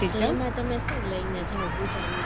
તમે શું લઈને જાવ પૂજા ની